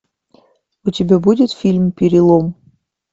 у тебя будет фильм перелом